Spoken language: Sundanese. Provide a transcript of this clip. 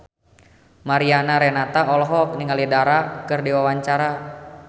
Mariana Renata olohok ningali Dara keur diwawancara